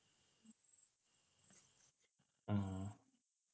ആഹ്